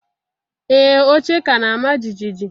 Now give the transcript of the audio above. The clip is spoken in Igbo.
Ee, oche ka na-ama jijiji